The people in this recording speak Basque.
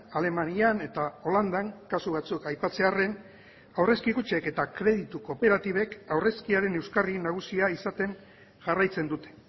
alemanian eta holandan kasu batzuk aipatzearren aurrezki kutxek eta kreditu kooperatibek aurrezkiaren euskarri nagusia izaten jarraitzen dute